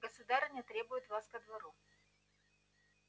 государыня требует вас ко двору